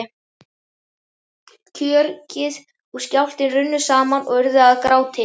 Kjökrið og skjálftinn runnu saman og urðu að gráti.